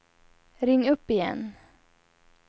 ring upp igen